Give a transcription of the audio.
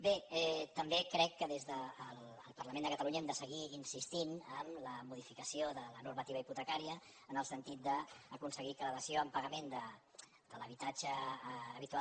bé també crec que des del parlament de catalunya hem de seguir insistint en la modificació de la normativa hipotecària en el sentit d’aconseguir que la dació en pagament de l’habitatge habitual